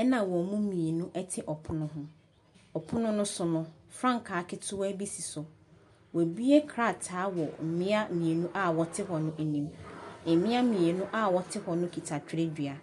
ɛna wɔn mu mmienu te pono ho. Pono no so no, frankaa ketewa bi si so. Wɔabue krataa wɔ mmea mmieni a wɔte ha no anim. Mmea mmienu a wɔte hɔ no kita twerɛdua.